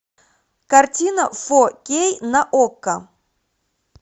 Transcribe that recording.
картина фо кей на окко